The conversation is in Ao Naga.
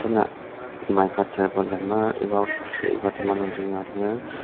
mica tarpualin lemer iba osetji iba tema nung yua lir.